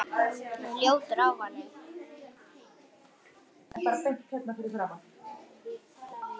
Hún er ljótur ávani.